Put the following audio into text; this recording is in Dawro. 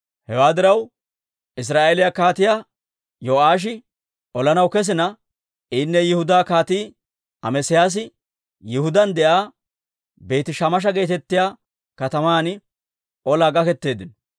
Hewaa diraw, Israa'eeliyaa Kaatiyaa Yo'aashi olanaw kesina, inne Yihudaa Kaatii Amesiyaasi Yihudaan de'iyaa Beeti-Shemesha geetettiyaa kataman olaa gaketeeddino.